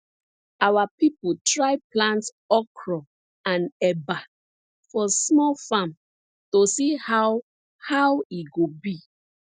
our people try plant okro and eba for small farm to see how how e go be